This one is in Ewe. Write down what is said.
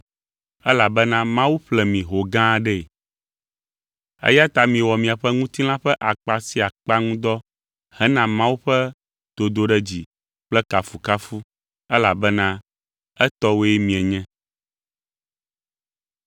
elabena Mawu ƒle mi ho gã aɖee. Eya ta miwɔ miaƒe ŋutilã ƒe akpa sia akpa ŋu dɔ hena Mawu ƒe dodoɖedzi kple kafukafu elabena etɔwoe mienye.